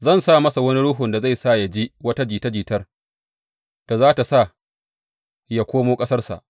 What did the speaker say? Zan sa masa wani ruhun da zai sa yă ji wata jita jitar da za tă sa yă koma ƙasarsa.